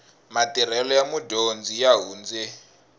matirhelo ya mudyondzi ya hundze